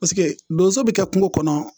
donso bɛ kɛ kungo kɔnɔ